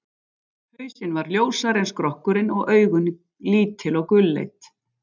Hausinn var ljósari en skrokkurinn og augun lítil og gulleit.